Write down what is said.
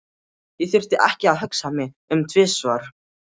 Ég þurfti ekki að hugsa mig um tvisvar.